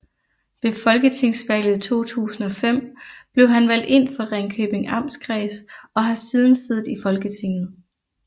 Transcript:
Ved Folketingsvalget 2005 blev han valgt ind for Ringkøbing Amtskreds og har siden siddet i Folketinget